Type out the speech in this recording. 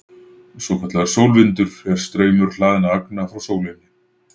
Svokallaður sólvindur er straumur hlaðinna agna frá sólinni.